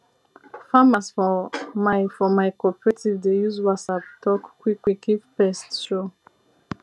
farmers for my for my cooperative dey use whatsapp talk quick quick if pest show